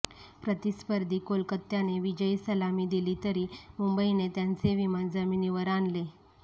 प्रतिस्पर्धी कोलकात्याने विजयी सलामी दिली तरी मुंबईने त्यांचे विमान जमिनीवर आणले